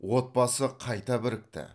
отбасы қайта бірікті